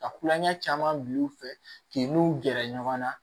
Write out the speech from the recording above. Ka kulonkɛ caman bila u fɛ k'i n'u gɛrɛ ɲɔgɔn na